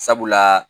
Sabula